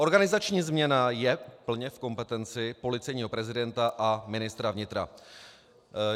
Organizační změna je plně v kompetenci policejního prezidenta a ministra vnitra.